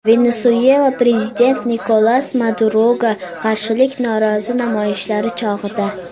Venesuelada prezident Nikolas Maduroga qarshi norozilik namoyishlari chog‘ida.